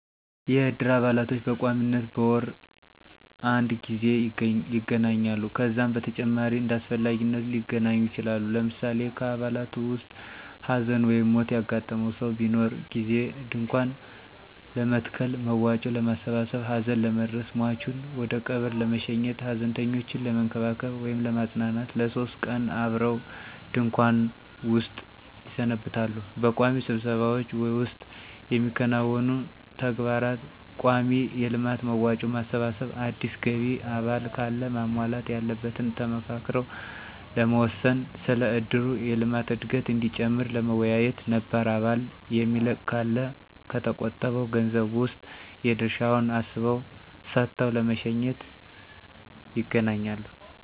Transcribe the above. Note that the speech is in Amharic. የእድር አባላቶች በቋሚነት በወር አድ ጊዜ ይገናኛሉ። ከዛም በተጨማሪ እንዳስፈላጊነቱ ሊገናኙ ይችላሉ። ለምሳሌ ከአባላቱ ዉስጥ ሀዘን/ሞት ያጋጠመው ሰው በሚኖር ጊዜ ድንኳን ለመትከል፣ መዋጮ ለማሠባሠብ፣ ሀዘን ለመድረስ፣ ሟቹን ወደቀብር ለመሸኘት፣ ሀዘንተኞችን ለመንከባከብ /ለማጽናናት ለሶስት ቀን አብረው ድንኩዋን ዉስጥ ይሰነብታሉ። በቋሚ ስብሰባዎች ዉስጥ የሚያከናውኑት ተግባር :ቋሚ የልማት መዋጮ ማሰባሰብ፣ አዲስ ገቢ አባል ካለ ማሟላት ያለበትን ተመካክረው ለመወሰን፣ ስለ እድሩ የልማት እድገት እዲጨምር ለመወያየት፣ ነባር አባል የሚለቅ ካለ ከተቆጠበዉ ገንዘብ ዉስጥ የድርሻዉን አስበው ሰጥተው ለመሸኘት ___ይገናኛሉ።